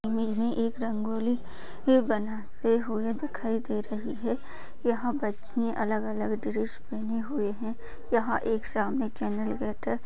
एक रंगोली के बनाते हुए दिखाई दे रही है यहां बच्चियाँ अलग अलग ड्रेस पहने हुए हैं | यहां एक सामने चैनल गेट है।